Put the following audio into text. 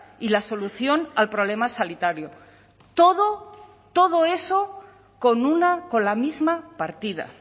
y la solución al problema sanitario todo todo eso con una con la misma partida